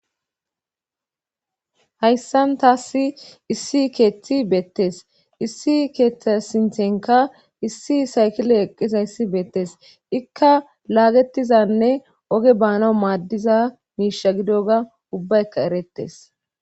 Hayssan taassi issi keeththi beettes issi keethtasintenka issi saykile eqqisa yssi beettes ikka laagetizanne oge baana maaddiza miisha gido ga ubbaekka erettes